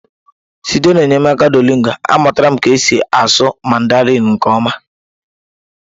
Site n'enyemaka Duolingo a, amụtala m ka esi asụ mandarịn nke ọma.